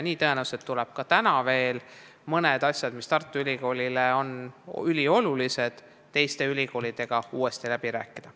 Tõenäoliselt tuleb ka täna veel mõned asjad, mis on Tartu Ülikoolile üliolulised, teiste ülikoolidega uuesti läbi rääkida.